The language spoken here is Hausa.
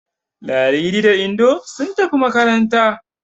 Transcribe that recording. Ladidi da Indo sun tafi makaranta.